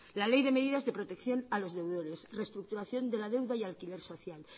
la ley de medidas de protección a los deudores reestructuración de la deuda y alquiler social